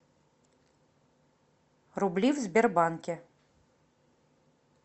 рубли в сбербанке